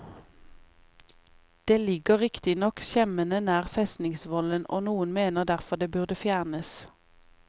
Det ligger riktignok skjemmende nær festingsvollen, og noen mener derfor det burde fjernes.